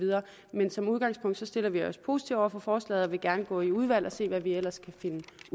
men som udgangspunkt stiller vi os positive over for forslaget og vil gerne gå i udvalget og se hvad vi ellers kan finde